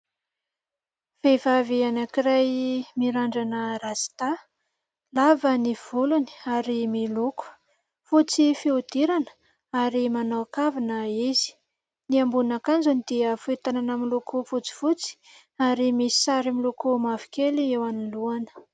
Vehivavy anankiray mirandrana rasta. Lava ny volony ary miloko. Fotsy fihodirana ary manao kavina izy. Ny ambonin'akanjony dia fohy tanana miloko fotsifotsy ary misy sary miloko mavokely eo anolohany.